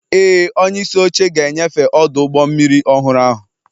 Ee, onyeisi oche ga-enyefe ọdụ ụgbọ mmiri ọhụrụ ahụ